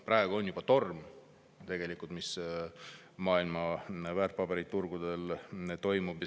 Praegu on see tegelikult juba torm, mis maailma väärtpaberiturgudel toimub.